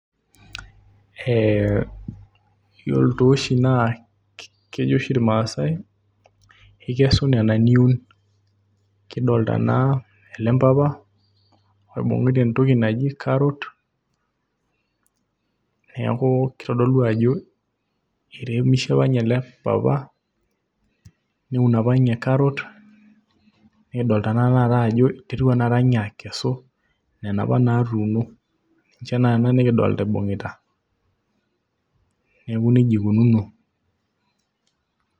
Kejo oshi irmaasai ikesu ina niun neeku kidolita ele mpapa ibung'ita entoki naji carrot, neeku kitodolu ajo iremishe apa ninye ele papa neun apa ninye carrot nikidol ajo iterua tanakata ninye akesu nena apa naatuuno ninche naa nena nikidolita ibung'ita, neeku nijia ikununo.